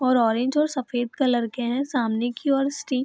और ऑरेंज और सफेद कलर के हैं सामने की ओर स्टी --